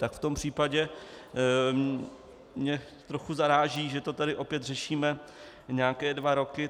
Tak v tom případě mě trochu zaráží, že to tady opět řešíme nějaké dva roky.